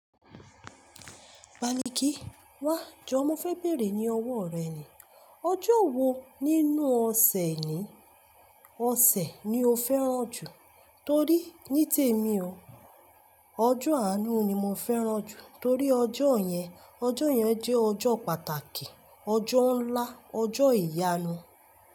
Baliki wá jọ, mo fẹ béèrè ní ọwọ́ rẹ ni. Ọjọ́ wo nínú ọ̀sẹ̀ ni, ọ̀sẹ̀ ni o fẹ́ràn jù? Torí ní tèmi o, ọjọ́ àánú ni mo fẹ́ràn jù. Torí ọjọ́ yẹn, ọjọ́ yẹn jẹ́ ọjọ́ pàtàkì, ọjọ́ ńlá, ọjọ́ ìyanu.